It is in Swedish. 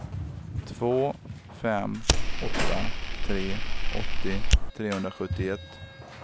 två fem åtta tre åttio trehundrasjuttioett